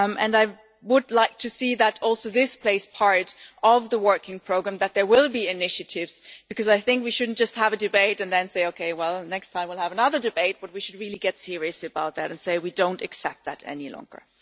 I would like to see this play a part in the Work Programme too, that there will be initiatives, because I think we should not just have a debate and then say okay, well, next time we will have another debate', but we should really get serious about this and say we do not accept it any longer.